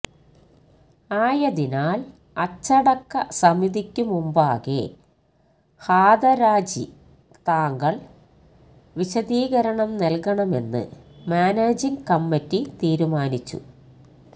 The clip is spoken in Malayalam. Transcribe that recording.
ആയതിനാൽ അച്ചടക്ക സമിതിക്കു മുമ്പാകെ ഹാതരാജി താങ്കൾ വിശദീകരണം നൽകണമെന്ന് മാനേജിങ് കമ്മിറ്റി തീരുമാനിച്ചു